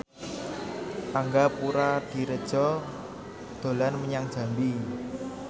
Angga Puradiredja dolan menyang Jambi